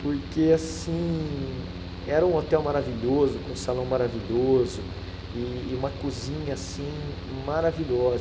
Porque, assim, era um hotel maravilhoso, com um salão maravilhoso e uma cozinha, assim, maravilhosa.